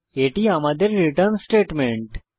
এটি আমাদের return statement